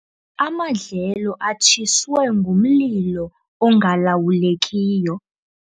Amadlelo atshiswe ngumlilo ongalawulekiyo.